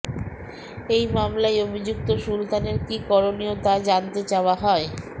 এই মামলায় অভিযুক্ত সুলতানের কী করনীয় তা জানতে চাওয়া হয়